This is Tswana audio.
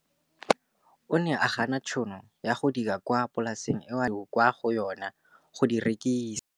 O ne a gana tšhono ya go dira kwa polaseng eo a neng rwala diratsuru kwa go yona go di rekisa.